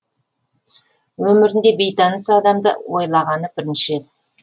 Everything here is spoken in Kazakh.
өмірінде бейтаныс адамды ойлағаны бірінші рет